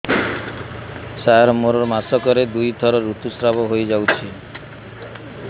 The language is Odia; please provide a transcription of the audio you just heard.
ସାର ମୋର ମାସକରେ ଦୁଇଥର ଋତୁସ୍ରାବ ହୋଇଯାଉଛି